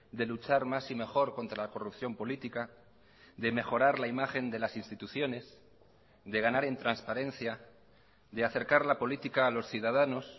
de luchar más y mejor contra la corrupción política de mejorar la imagen de las instituciones de ganar en transparencia de acercar la política a los ciudadanos